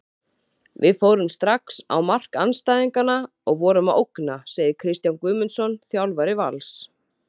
Við fórum strax á mark andstæðingana og vorum að ógna, segir Kristján Guðmundsson, þjálfari Vals.